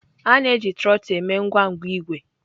A na-eji trotul eme ngwangwa igwe.